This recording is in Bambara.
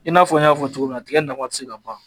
I n'a fɔ n y'a fɔ cogo min na tigɛ nafa te se ka fɔ ka ban